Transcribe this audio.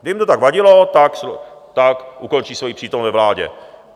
Kdyby jim to tak vadilo, tak ukončí svoji přítomnost ve vládě.